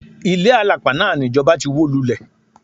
Ilé àlàpà náà ni ìjọba ti wó lulẹ̀.